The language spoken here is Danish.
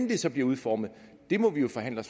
det så bliver udformet må vi jo forhandle